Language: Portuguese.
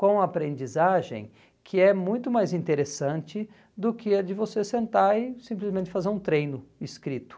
com a aprendizagem, que é muito mais interessante do que a de você sentar e simplesmente fazer um treino escrito.